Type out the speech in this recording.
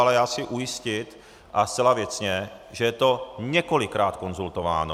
Ale já chci ujistit, ale zcela věcně, že je to několikrát konzultováno.